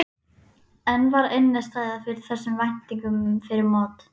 En var innistæða fyrir þessum væntingum fyrir mót?